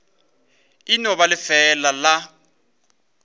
e no ba lefeela la